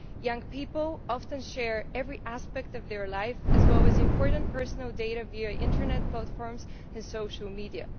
Young people often share every aspect of their life, as well as important personal data, via Internet platforms and social media.